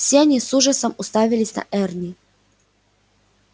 все они с ужасом уставились на эрни